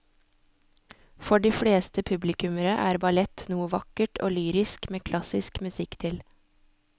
For de fleste publikummere er ballett noe vakkert og lyrisk med klassisk musikk til.